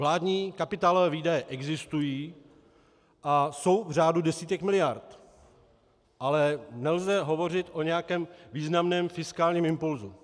Vládní kapitálové výdaje existují a jsou v řádu desítek miliard, ale nelze hovořit o nějakém významném fiskálním impulsu.